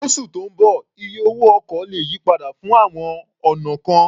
Lósù tó ń bọ̀, iye owó ọkọ̀ lè yí padà fún àwọn ọ̀nà kan.